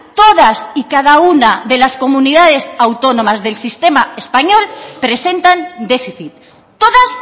todas y cada una de las comunidades autónomas del sistema español presentan déficit todas